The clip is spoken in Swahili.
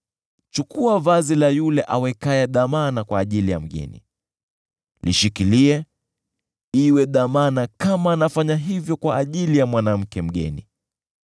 Chukua vazi la yule awekaye dhamana kwa ajili ya mgeni; lishikilie iwe dhamana kama anafanya hivyo kwa ajili ya mwanamke mpotovu.